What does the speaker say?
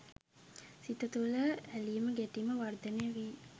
සිත තුළ ඇලීම ගැටීම වර්ධනය වී